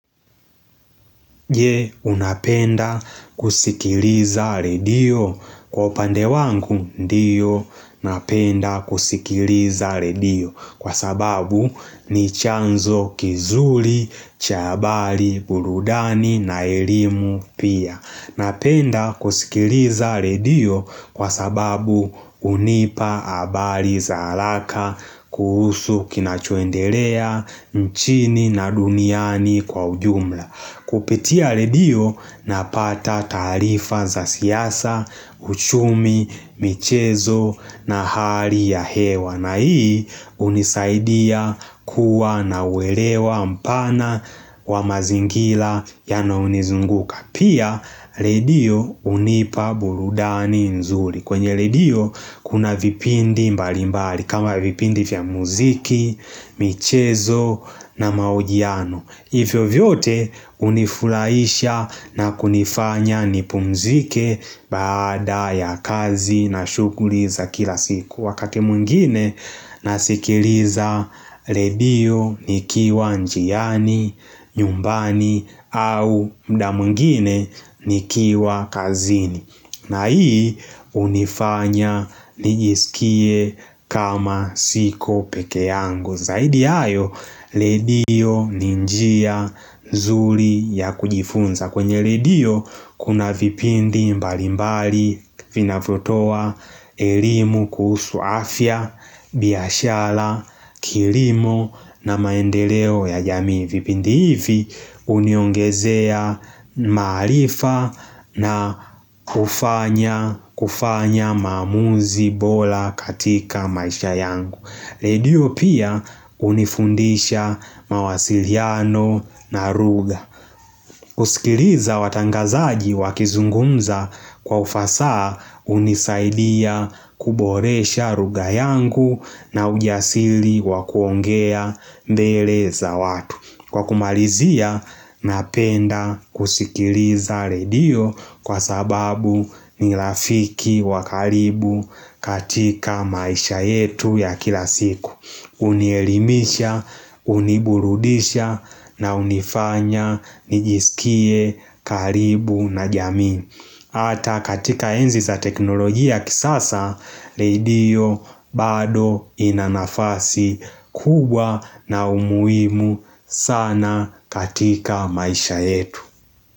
Je unapenda kusikiliza redio? Kwa upande wangu, ndiyo napenda kusikiliza redio kwa sababu ni chanzo kizuri, cha habari, burudani na elimu pia. Napenda kusikiliza redio kwa sababu hunipa habari za haraka kuhusu kinachoendelea nchini na duniani kwa ujumla. Kupitia redio, napata taarifa za siasa, uchumi, michezo na hali ya hewa. Na hii hunisaidia kuwa na welewa mpana wa mazingira yanayonizunguka. Pia redio hunipa burudani nzuri kwenye redio kuna vipindi mbali mbali kama vipindi vya muziki, michezo na mahojiano hivyo vyote unifurahisha na kunifanya nipumzike baada ya kazi na shughuli za kila siku. Wakati mwngine nasikiliza redio nikiwa njiani, nyumbani au muda mwingine nikiwa kazini. Na hii hunifanya nijiskie kama siko peke yangu. Zaidi ya hayo, redio ni njia nzuri ya kujifunza. Kwenye redio kuna vipindi mbali mbali vinavyotoa elimu kuhusu afya, biashara, kilimo na maendeleo ya jamii. Vipindi hivi huniongezea maarifa na kufanya kufanya maamuzi bora katika maisha yangu. Redio pia hunifundisha mawasiliano na ruga kusikiliza watangazaji wakizungumza kwa ufasaha hunisaidia kuboresha lugha yangu na ujasili wa kuongea mbele za watu. Kwa kumalizia, napenda kusikiliza redio kwa sababu ni rafiki wa karibu katika maisha yetu ya kila siku. Hunielimisha, huniburudisha na hunifanya nijisikie karibu na jamii hata katika enzi za teknolojia kisasa, redio bado ina nafasi kubwa na umuhimu sana katika maisha yetu.